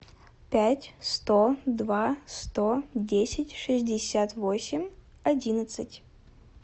пять сто два сто десять шестьдесят восемь одиннадцать